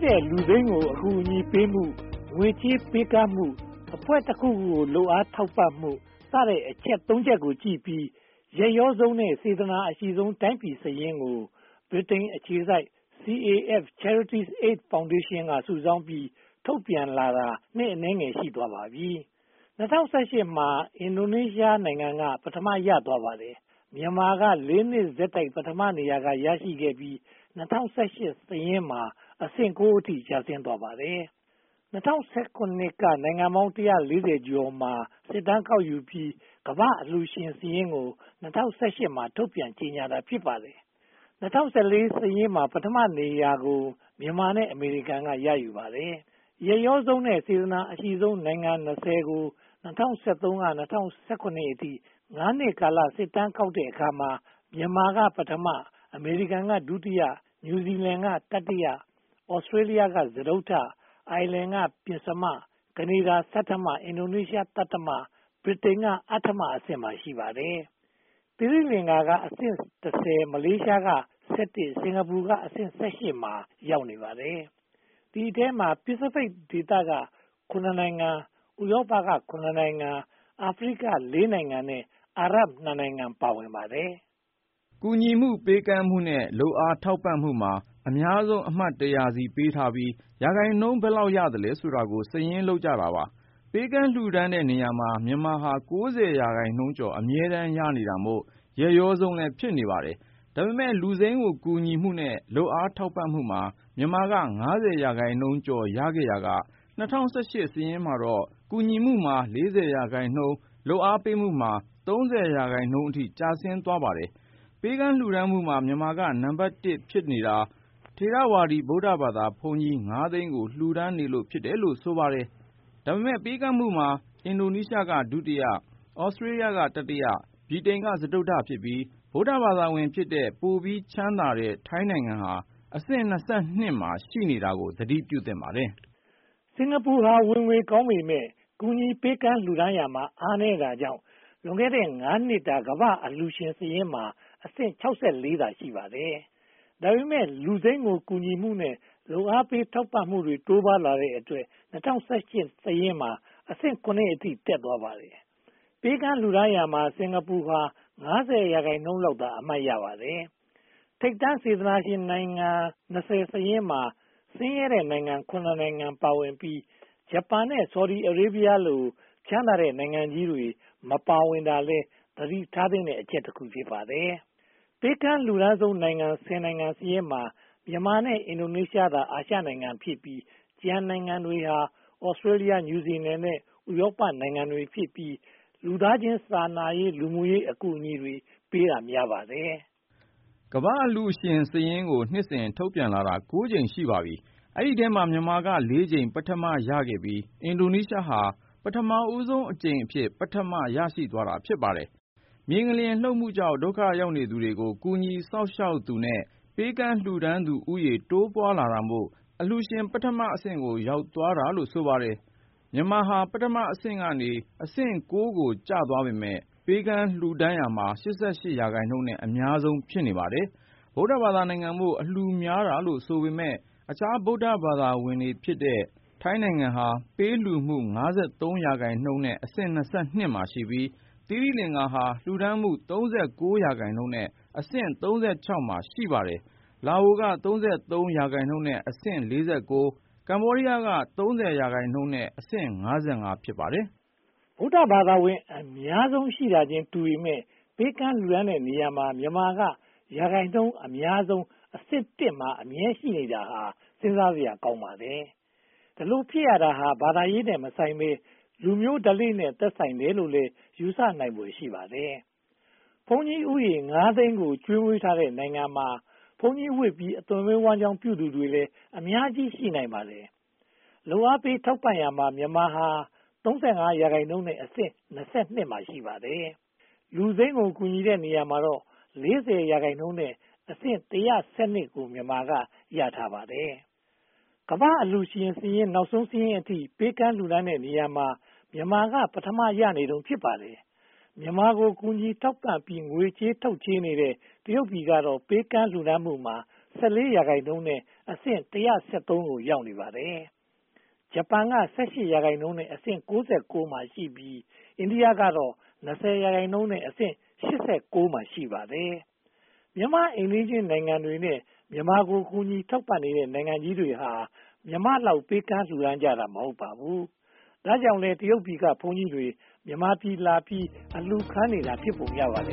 တဲ့လူစိမ်းကို အကူအညီပေးမှု၊ ငွေကြေးပေးကမ်းမှု အဖွဲ့တခုခုကို လုပ်အားထောက်ခံမှုစတဲ့ အချက် (၃) ချက်ကိုကြည့်ပြီး ရက်ရောဆုံးနဲ့ စေတနာအရှိဆုံး တိုင်းပြည်စာရင်းကို ဗြိတိန်အခြေစိုက် Charities Aid Foundation (CAF) က စုဆောင်းပြီး ထုတ်ပြန်လာတာ နှစ်အနည်းငယ် ရှိသွားပါပြီ။ ၂၀၁၈ မှာ အင်ဒိုနီးရှားနိုင်ငံ က ပထမ ရရှိသွားပါတယ်။ မြန်မာက လေးနှစ်ဆက်တိုက် ပထမနေရာကို ရရှိခဲ့ပြီးမှ ၂၀၁၈ စာရင်းမှာ အဆင့် (၉) အထိ ကျဆင်းသွားခဲ့ပါတယ်။ ၂၀၁၇ က နိုင်ငံပေါင်း (၁၄၀) ကျော်မှာ စစ်တမ်းကောက်ယူပြီး ကမ္ဘာ့အလှူရှင်စာရင်းကို ၂၀၁၈ မှာ ထုတ်ပြန်ကြေညာတာ ဖြစ်ပါတယ်။ ၂၀၁၄ မှာ ပထမနေရာကို မြန်မာနဲ့ အမေရိကန်တို့ ပူးတွဲရယူခဲ့ပါတယ်။ ရက်ရောဆုံးနဲ့ စေတနာ အရှိဆုံးနိုင်ငံ (၂၀) ကို (၂၀၁၃) ကနေ (၂၀၁၇) အထိ ငါးနှစ်ကာလစစ်တမ်း ကောက်ယူတဲ့အခါမှာ မြန်မာက ပထမ၊ အမေရိကန်က ဒုတိယ၊ နယူးဇီးလန်းက တတိယ၊ သြစတေးလျက စတုတ္ထ၊ အိုင်ယာလန်းက ပဉ္စမ၊ ကနေဒါ ဆဋ္ဌမ၊ အင်ဒိုနီးရှား သတ္တမ၊ ဗြိတိန်က အဋ္ဌမအဆင့်တို့မှာ ရှိကြပါတယ်။ သီရိလင်္ကာကအဆင့် (၁၀)၊ မလေးရှားကအဆင့် (၁၃)၊ စင်္ကာပူကအဆင့် (၁၈) တို့မှာ ရှိနေပါတယ်။ ဒီအထဲမှာ အာရှပစ္စီဖိတ်ဒေသက (၇) နိုင်ငံ၊ ဥရောပက (၇) နိုင်ငံ၊ အာဖရိက (၄) နိုင်ငံ နဲ့ အာရပ် (၂) နိုင်ငံတို့ ပါဝင်ပါတယ်။ ကူညီမှု၊ ပေးကမ်းမှုနဲ့ လုပ်အားထောက်ပံ့မှုမှာ အများဆုံးအမတ် (၁၀၀) ဆီ ပေးထားပြီး၊ ရာခိုင်နှုန်း ဘယ်လောက်ရသလဲဆိုတာကို စာရင်းလုပ်ထားပါတယ်။ ပေးကမ်းလှူဒါန်းတဲ့နေရာမှာ မြန်မာဟာ (၉၀) ရာခိုင်နှုန်းကျော် အမြဲတမ်းရနေတာမို့ ရက်ရောဆုံး ဖြစ်နေပါတယ်။ ဒါပေမဲ့ လူစိမ်းကို ကူညီမှုနဲ့ လုပ်အားထောက်ပံ့မှုမှာ မြန်မာက (၅၀) ရာခိုင်နှုန်းကျော်ရခဲ့ရာကနေ ၂၀၁၈ မှာတော့ ကူညီမှုမှာ (၄၀) ရာခိုင်နှုန်း၊ လုပ်အားပေးမှုမှာ (၃၀) ရာခိုင်နှုန်းအထိ ကျဆင်းသွားပါတယ်။ ပေးကမ်းလှူဒါန်းမှုမှာ မြန်မာက နံပတ် (၁) ဖြစ်နေတာ ထေရဝါဒီဗုဒ္ဓဘာသာဘုန်းကြီး (၅) သိန်းကို လှူဒါန်းနေလို့ ဖြစ်တယ်လို့ ဆိုပါတယ်။ ဒါပေမဲ့ ပေးကမ်းမှုမှာ အင်ဒိုနီးရှားက ဒုတိယ၊ သြစတေးလျ က တတိယ၊ ဗြိတိန်က စတုတ္ထဖြစ်ပြီး ဗုဒ္ဓဘာသာဝင်ဖြစ်တဲ့ ပိုပြီးချမ်းသာတဲ့ ထိုင်းနိုင်ငံက အဆင့် (၂၂) မှာ ရှိနေတာကို သတိပြုသင့်ပါတယ်။ စင်္ကာပူဟာ ဝင်ငွေကောင်းပေမယ့် ကူညီပေးကမ်းမှုမှာ အားနည်းတာကြောင့် လွန်ခဲ့တဲ့ (၅) နှစ်တာ ကမ္ဘာ့စေတနာရှင်စာရင်းမှာ အဆင့် (၆၄) သာ ရှိပါတယ်။ ဒါပေမဲ့ လူစိမ်းကို ကူညီမှုနဲ့ လုပ်အားပေးထောက်ပံ့မှုတွေ တိုးပွားလာတဲ့အတွက် ၂၀၁၈ စာရင်းမှာ အဆင့် (၇) အထိ တက်သွားပါတယ်။ ပေးကမ်းလှူဒါန်းရာမှာတော့ စင်္ကာပူဟာ (၅၀) ရာခိုင်နှုန်းလောက်သာ အမှတ်ရပါတယ်။ ထိပ်တန်းစေတနာရှင်နိုင်ငံ (၂၀) စာရင်းမှာ ဆင်းရဲတဲ့နိုင်ငံ (၇) နိုင်ငံပါဝင်ပြီး ဂျပန် နဲ့ ဆော်ဒီအာရေဗီရား လို ချမ်းသာတဲ့ နိုင်ငံကြီးတွေ မပါဝင်တာဟာလည်း သတိထားသင့်တဲ့အချက် တခု ဖြစ်ပါတယ်။ ပေးကမ်းလှူဒါန်းဆုံး (၁၀) နိုင်ငံစာရင်းမှာ မြန်မာနဲ့ အင်ဒိုနီးရှားတို့သာ အာရှနိုင်ငံဖြစ်ပြီး ကျန်နိုင်ငံတွေဟာ သြစတေးလျ၊ နယူးဇီလန် နဲ့ ဥရောပနိုင်ငံတွေဖြစ်ပြီး လူသားချင်းစာနာတဲ့ လူမှုရေးအကူအညီတွေပေးတာ များပါတယ်။ ကမ္ဘာ့အလှူရှင်စာရင်းကို နှစ်စဉ်ထုတ်ပြန်လာတာ (၉) ကြိမ် ရှိပါပြီ။ ဒီအထဲမှာ မြန်မာက (၄) ကြိမ် ပထမ ရရှိခဲ့ပြီး၊ အင်ဒိုနီးရှားက ၂၀၁၈ မှာ ပထမဦးဆုံးအကြိမ် ပထမ ရရှိသွားတာ ဖြစ်ပါတယ်။ မြေငလျင်လှုပ်မှုကြောင့် ဒုက္ခရောက်သူတွေကို ကူညီစောင့်ရှောက်သူနဲ့ ပေးကမ်းလှူဒါန်းသူဦးရေ တိုးပွားလာတာမို့ အလှူရှင် ပထမအဆင့်ကို ရောက်သွားတာလို့ ဆိုပါတယ်။ မြန်မာဟာ ပထမအဆင့်ကနေ အဆင့် (၉) ကို ကျသွားပေမယ့် ပေးကမ်းလှူဒါန်းရာမှာ (၈၈) ရာခိုင်နှုန်းနဲ့ အများဆုံး ဖြစ်နေပါတယ်။ ဗုဒ္ဓဘာသာနိုင်ငံမို့ အလှူများတာလို့ ဆိုပေမယ့် အခြားဗုဒ္ဓဘာသာဝင်နိုင်ငံတွေဖြစ်တဲ့ ထိုင်းနိုင်ငံဟာ ပေးကမ်းလှူမှုမှာ (၅၃) ရာခိုင်နှုန်း အဆင့် (၂၂) မှာရှိပြီး၊ သီရိလင်္ကာက လှူဒါန်းမှုမှာ (၃၉) ရာခိုင်နှုန်းနဲ့ အဆင့် (၃၆) မှာ ရှိနေပါတယ်။ လာအိုနိုင်ငံက (၃၃) ရာခိုင်နှုန်းနဲ့ အဆင့် (၄၉) နဲ့ ကမ္ဘောဒီးယားက (၃၀) ရာခိုင်နှုန်းနဲ့ အဆင့် (၅၅) မှာ ရှိကြပါတယ်။ ဗုဒ္ဓဘာသာဝင် အများစုရှိတာချင်းတူပေမယ့် ပေးကမ်းလှူဒါန်းတဲ့နေရာမှာ မြန်မာက ရာခိုင်နှုန်းအမာျးဆုံးနဲ့ အဆင့် (၁) မှာ အမြဲတမ်းရှိနေတာဟာ စဉ်းစားစရာကောင်းပါတယ်။ ဒီလိုဖြစ်ရတာဟာ ဘာသာရေးနဲ့မဆိုင်ဘဲ လူမျိုးဓလေ့နဲ့ သက်ဆိုင်တယ်လို့ ယူဆနိုင်ဖွယ် ရှိပါတယ်။ ဘုန်းကြီးဦးရေ ငါးသိန်းကို ကျွေးမွေးထားတဲ့နိုင်ငံမှာ ဘုန်းကြီးဝတ်ပြီး အသက်မွေးဝမ်းကျောင်းသူတွေလည်း အများကြီးရှိနိုင်ပါတယ်။ လုပ်အားပေးထောက်ပံ့ရာမှာ မြန်မာဟာ (၃၄) ရာခိုင်နှုန်းနဲ့ အဆင့် (၂၂) မှာ ရှိပါတယ်။ လူစိမ်းကို ကူညီတဲ့နေရာမှာတော့ (၄၀) ရာခိုင်နှုန်းနဲ့ အဆင့် (၁၂၂) ကို မြန်မာက ရရှိထားပါတယ်။ ကမ္ဘာ့အလှူရှင် နောက်ဆုံးစာရင်းအထိ ပေးကမ်းလှူဒါန်းတဲ့နေရာမှာ မြန်မာက ပထမ ရနေတုန်း ဖြစ်ပါတယ်။ မြန်မာကို ကူညီထောက်ပံ့ပြီး ငွေထုတ်ချေးတဲ့ တရုတ်ပြည်ကတော့ ပေးကမ်းလှူဒါန်းမှုမှာ (၁၄) ရာခိုင်နှုန်းနဲ့ အဆင့် (၁၁၃) ကို ရောက်နေပါတယ်။ ဂျပန်က (၁၈) ရာခိုင်နှုန်းနဲ့ အဆင့် (၉၉) မှာရှိပြီး၊ အိန္ဒိယကတော့ (၂၀) ရာခိုင်နှုန်းနဲ့ အဆင့် (၈၉) မှာ ရှိနေပါတယ်။ မြန်မာ့အိမ်နီးချင်းနိုင်ငံတွေနဲ့ မြန်မာကို ကူညီထောက်ပံ့နေတဲ့ နိုင်ငံကြီးတွေဟာ မြန်မာလောက် ပေးကမ်းလှူဒါန်းကြတာ မဟုတ်ပါဘူး။ ဒါကြောင့်လည်း တရုတ်ပြည်က ဘုန်းကြီးတွေ မြန်မာပြည်မှာလာပြီး အလှူခံနေတာ ဖြစ်ပုံရပါတယ